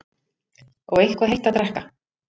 Og eitthvað heitt að drekka.